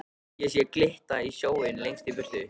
Ég sé glitta í sjóinn lengst í burtu.